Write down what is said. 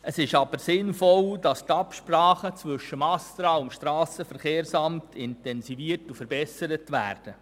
Es ist aber sinnvoll, dass die Absprachen zwischen dem ASTRA und dem SVSA intensiviert und verbessert werden.